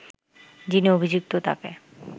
যিনি অভিযুক্ত তাকে